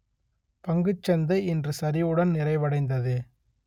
பங்குச்சந்தை இன்று சரிவுடன் நிறைவடைந்தது